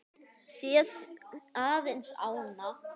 Sér aðeins ána.